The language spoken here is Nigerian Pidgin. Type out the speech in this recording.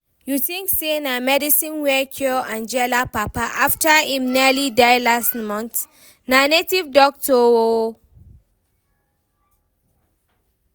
You think say na medicine wey cure Angela papa after im nearly die last month? Na native doctor oo